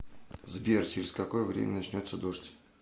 сбер через какое время начнется дождь